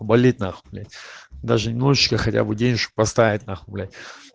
болит нахуй блять даже немножечко хотя бы денежку поставить нахуй блять